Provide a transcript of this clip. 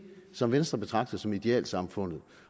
som venstre betragter som idealsamfundet